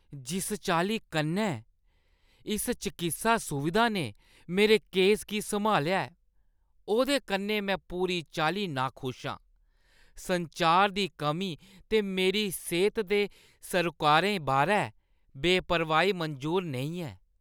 जिस चाल्ली कन्नै इस चकित्सा सुविधा ने मेरे केस गी सम्हालेआ ऐ, ओह्दे कन्नै में पूरी चाल्ली नाखुश आं। संचार दी कमी ते मेरी सेह्ता दे सरोकारें बारै बेपरवाही मंजूर नेईं ऐ।